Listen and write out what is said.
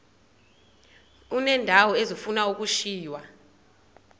uneendawo ezifuna ukushiywa